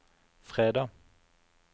fredag